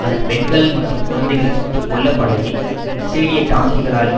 அதன் பெண்கள் மற்றும் குழந்தைகள் சுட்டு கொல்லப்படலில் இஸ்ரேலிய டாங்கிகளால்